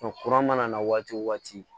kura mana na waati o waati